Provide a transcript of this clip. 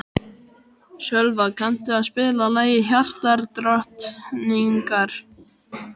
Sölva, kanntu að spila lagið „Hjartadrottningar“?